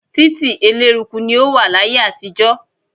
Títí eléruku ni ó wà láyé àtijọ́.